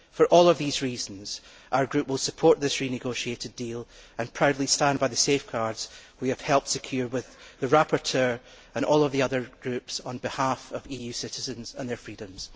For all of these reasons, our group will support this renegotiated deal and proudly stand by the safeguards we have helped to secure with the rapporteur and all of the other groups on behalf of EU citizens and their freedoms.